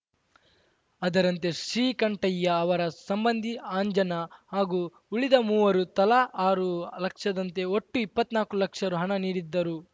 ಅದರಂತೆ ಶ್ರೀಕಂಠಯ್ಯ ಅವರ ಸಂಬಂಧಿ ಅಂಜನಾ ಹಾಗೂ ಉಳಿದ ಮೂವರು ತಲಾ ಆರು ಲಕ್ಷದಂತೆ ಒಟ್ಟು ಇಪ್ಪನಾಲ್ಕು ಲಕ್ಷ ರು ಹಣ ನೀಡಿದ್ದರು